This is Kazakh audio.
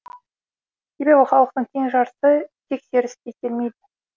себебі халықтың тең жартысы тексеріске келмейді